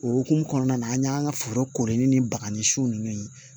O hokumu kɔnɔna na an y'an ka foro kori ni baga ni siw ye